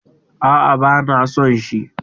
Aa, bana son shi